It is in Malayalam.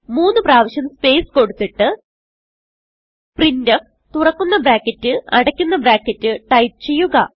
മൂന്ന് പ്രാവിശ്യം സ്പേസ് കൊടുത്തിട്ട് പ്രിന്റ്ഫ് തുറക്കുന്ന ബ്രാക്കറ്റ് അടയ്ക്കുന്ന ബ്രാക്കറ്റ് ടൈപ്പ് ചെയ്യുക